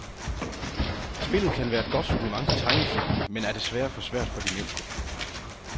Spillet kan være et godt supplement til tegnefilmen, men er desværre for svært for de mindste.